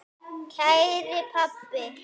Kæri pabbi.